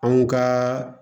Anw ka